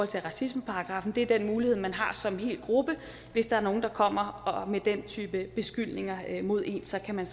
til racismeparagraffen det er den mulighed man har som en hel gruppe hvis der er nogle der kommer med den type beskyldninger mod en så kan man